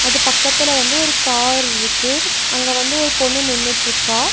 அது பக்கத்துல வந்து ஒரு கார்ருக்கு அங்க வந்து ஒரு பொண்ணு நின்னுட்ருக்கா.